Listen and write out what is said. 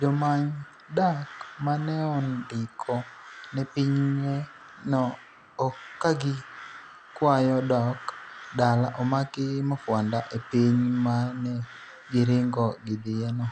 jomany dak maneondiko ne pinye no kagikwayo dok dala omaki mafwanda e piny manegiringo gidhiye no